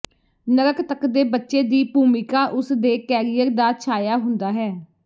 ਨਰਕ ਤੱਕ ਦੇ ਬੱਚੇ ਦੀ ਭੂਮਿਕਾ ਉਸ ਦੇ ਕੈਰੀਅਰ ਦਾ ਛਾਇਆ ਹੁੰਦਾ ਹੈ